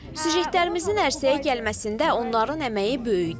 Süjetlərimizin ərsəyə gəlməsində onların əməyi böyükdür.